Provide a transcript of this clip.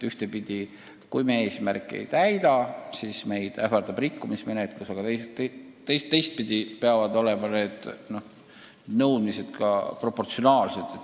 Ühtepidi, kui me eesmärki ei täida, siis meid ähvardab rikkumismenetlus, aga teistpidi peavad need nõuded siiski proportsionaalsed olema.